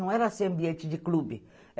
Não era assim ambiente de clube.